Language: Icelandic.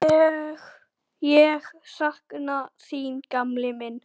Ég sakna þín gamli minn.